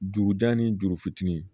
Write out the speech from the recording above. Dugu da ni juru fitinin